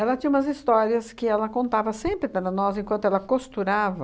tinha umas histórias que ela contava sempre para nós enquanto ela costurava